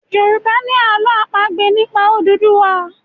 Yorùbá ni àlọ́ àpagbè nípa Odùduwa